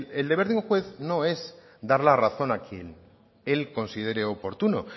el deber de un juez no es dar la razón a quien él considere oportuno